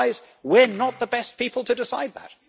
Guys, we are not the best people to decide that.